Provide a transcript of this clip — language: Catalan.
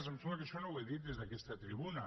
em sembla que això no ho he dit des d’aquesta tribuna